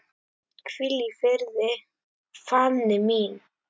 Hvíl í friði, Fanný mín.